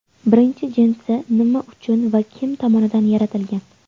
Birinchi jinsi nima uchun va kim tomonidan yaratilgan?